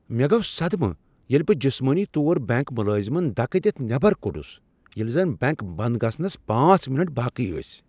مےٚ گو صدمہ ییٚلہ بہ جسمٲنی طور بینک ملازمن دکہ دِتھ نیبر کوٚڈُس ییلہ زن بینک بند گژھنس پانژھ منٹ باقی ٲسۍ